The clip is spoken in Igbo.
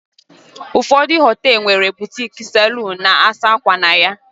ụfọdụ họtelu nwere boutique, saloons, na-asa ákwà na ya